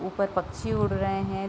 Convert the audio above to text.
ऊपर पक्षी उड़ रहे हैं।